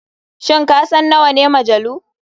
Shin kasan nawane majalu?